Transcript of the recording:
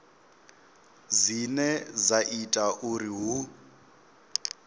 dzine dza ita uri hu